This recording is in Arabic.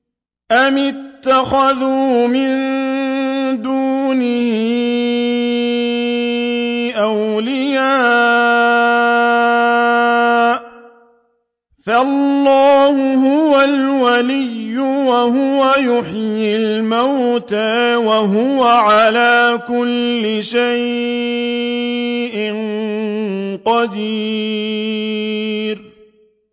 أَمِ اتَّخَذُوا مِن دُونِهِ أَوْلِيَاءَ ۖ فَاللَّهُ هُوَ الْوَلِيُّ وَهُوَ يُحْيِي الْمَوْتَىٰ وَهُوَ عَلَىٰ كُلِّ شَيْءٍ قَدِيرٌ